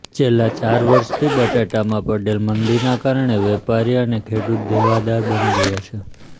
છેલ્લાં ચાર વર્ષથી બટાટામાં પડેલ મંદીનાં કારણે વેપારી અને ખેડૂત દેવાદાર બની ગયા છે